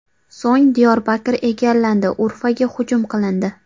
So‘ng Diyorbakr egallandi, Urfaga hujum qilindi.